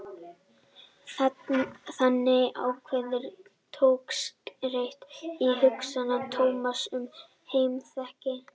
Þannig er ákveðin togstreita í hugsun Tómasar um heimspekina.